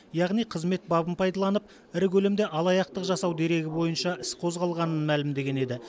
яғни қызмет бабын пайдаланып ірі көлемде алаяқтық жасау дерегі бойынша іс қозғалғанын мәлімдеген еді